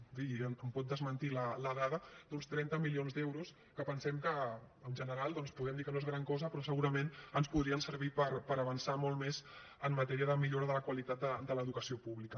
i em pot desmentir la dada d’uns trenta milions d’euros que pensem que en general doncs podem dir que no és gran cosa però segurament ens podrien servir per avançar molt més en matèria de millora de la qualitat de l’educació pública